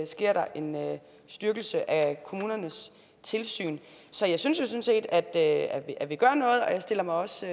sker der en styrkelse af kommunernes tilsyn så jeg synes jo sådan set at vi gør noget og jeg stiller mig også